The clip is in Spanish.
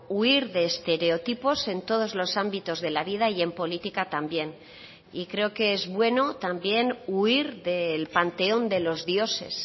huir de estereotipos en todos los ámbitos de la vida y en política también y creo que es bueno también huir del panteón de los dioses